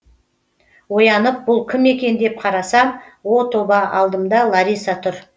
оянып бұл кім екен деп қарасам о тоба алдымда лариса тұр